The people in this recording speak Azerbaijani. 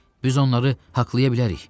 Biz onları haqqlaya bilərik.